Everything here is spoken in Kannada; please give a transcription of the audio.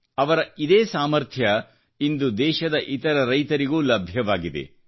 ಅವರ ಇದೇ ಸಾಮಥ್ರ್ಯ ಇಂದು ದೇಶದ ಇತರ ರೈತರಿಗೂಲಭ್ಯವಾಗಿದೆ